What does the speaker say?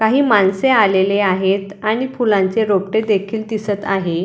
काही माणसे आलेले आहेत आणि फुलांचे रोपटे देखील आहेत.